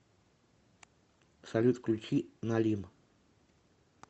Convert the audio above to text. салют включи налим